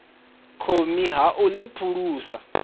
thomi ha u ḽi phulusa